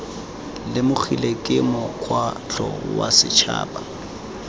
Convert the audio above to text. lemogilwe ke mokgatlho wa setšhaba